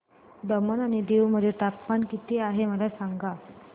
दमण आणि दीव मध्ये तापमान किती आहे मला सांगा